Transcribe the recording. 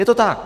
Je to tak.